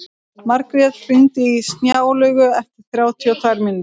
Margrjet, hringdu í Snjálaugu eftir þrjátíu og tvær mínútur.